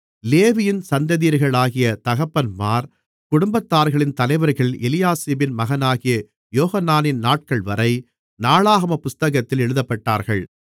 லேவியின் சந்ததியர்களாகிய தகப்பன்மார் குடும்பத்தார்களின் தலைவர்கள் எலியாசிபின் மகனாகிய யோகனானின் நாட்கள்வரை நாளாகமப் புத்தகத்தில் எழுதப்பட்டார்கள்